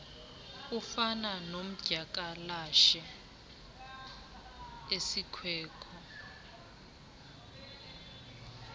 ufana nodyakalashe isikweko